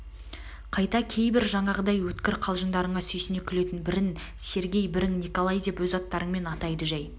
қайта кейбір жаңағыдай өткір қалжыңдарына сүйсіне күлетін бірін сергей бірін николай деп өз аттарымен атайды жай